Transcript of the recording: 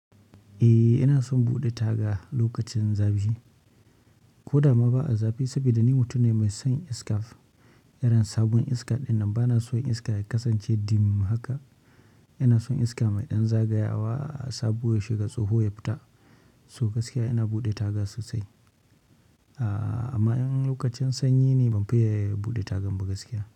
Eh ina son buɗe taga lokacin zafi. Ko da ma ba a zafi saboda ni mutum ne mai son iska. Irin sabon iska din nan bana son iska ya kasance irin dim din nan haka ina son iska mai ɗan zagayawa sabo ya shiga tsoho ya fita. So gaskiya ina buɗe taga sosai. A amma in lokacin sanyi ne ban fiye buɗe tagan ba gaskiya.